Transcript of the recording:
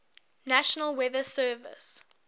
national weather service